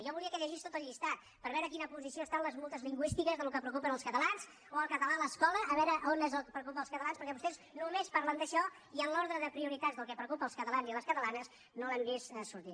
jo volia que llegís tot el llistat per veure en quina posició estan les multes lingüístiques del que preocupa els catalans o el català a l’escola a veure on és el que preocupa els catalans perquè vostès només parlen d’això i en l’ordre de prioritats del que preocupa els catalans i les catalanes no ho hem vist sortir